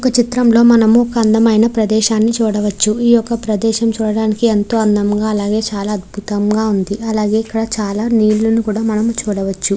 ఈ చిత్రం లో మనం ఒక అందమైన ప్రదేశం చూడవచ్చు ఈ యొక్క ప్రదేశం చూడడానికి ఎంతో అందంగ అలాగే అద్భుతంగ చూడవచు అలాగే మనం నీటిని కూడా మనం చూడవచ్చు .